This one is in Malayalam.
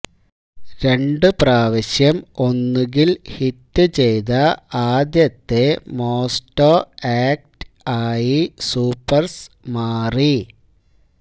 രണ്ടുപ്രാവശ്യം ഒന്നുകിൽ ഹിറ്റ് ചെയ്ത ആദ്യത്തെ മോസ്ടോ ആക്ട് ആയി സൂപ്പർസ് മാറി